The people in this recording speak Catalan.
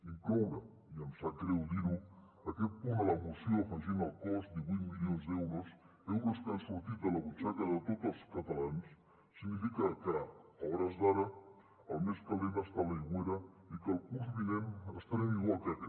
incloure i em sap greu dir ho aquest punt a la moció afegint al cost divuit milions d’euros euros que han sortit de la butxaca de tots els catalans significa que a hores d’ara el més calent està a l’aigüera i que el curs vinent estarem igual que aquest